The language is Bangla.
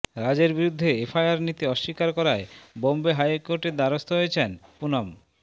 রাজের বিরুদ্ধে এফআইআর নিতে অস্বীকার করায় বম্বে হাইকোর্টের দ্বারস্থ হয়েছেন পুনম